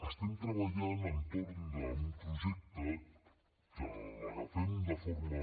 estem treballant entorn d’un projecte que l’agafem de forma